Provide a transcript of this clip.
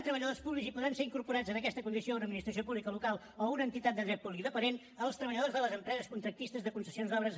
uf ser incorporats amb aquesta condició a una administració pública local o a una entitat de dret públic dependent els treballadors de les empreses contractistes de concessions d’obres